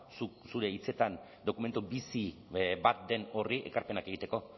zuk zure hitzetan dokumentu bizi bat den horri ekarpenak egiteko